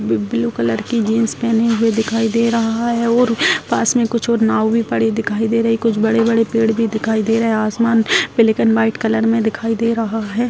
Blue colour की jeans पेहने हुए दिखाई दे रहा है और पास में कुछ और नाव भी पड़े दिखाई दे रही है कुछ बड़े-बड़े पेड़ भी दिखाई दे रहे है आसमान ब्लैक एंड वाइट कलर में दिखाई दे रहा है।